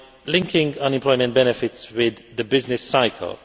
linking unemployment benefits with the business cycle.